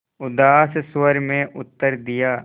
उदास स्वर में उत्तर दिया